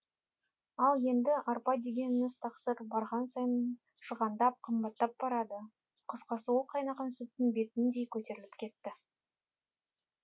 ал енді арпа дегеніңіз тақсыр барған сайын шығандап қымбаттап барады қысқасы ол қайнаған сүттің бетіңдей көтеріліп кетті